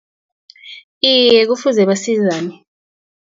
Iye, kufuze basizane.